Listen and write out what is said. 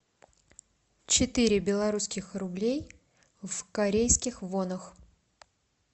четыре белорусских рублей в корейских вонах